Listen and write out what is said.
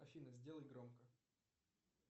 афина сделай громко